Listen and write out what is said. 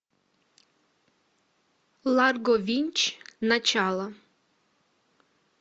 ларго винч начало